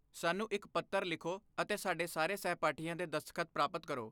ਸਾਨੂੰ ਇੱਕ ਪੱਤਰ ਲਿਖੋ ਅਤੇ ਸਾਡੇ ਸਾਰੇ ਸਹਿਪਾਠੀਆਂ ਦੇ ਦਸਤਖਤ ਪ੍ਰਾਪਤ ਕਰੋ